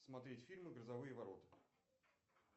смотреть фильмы грозовые ворота